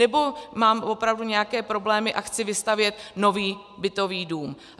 Nebo mám opravdu nějaké problémy a chci vystavět nový bytový dům?